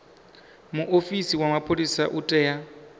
muofisi wa mapholisa u tea